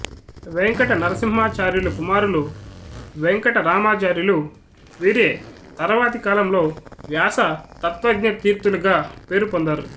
వేంకట నరసింహాచార్యులు కుమారులు వెంకట రామాచార్యులు వీరే తర్వాతి కాలంలో వ్యాస తత్వజ్ఞ తీర్థులుగా పేరు పొందారు